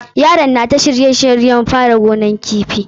Yaron na ta shirye shiryen fara gonan kifi.